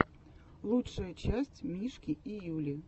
лучшая часть мишки и юли